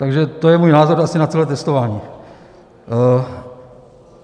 Takže to je můj názor asi na tohle testování.